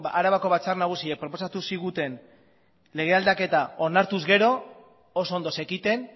arabako batzar nagusiak proposatu ziguten lege aldaketa onartuz gero oso ondo zekiten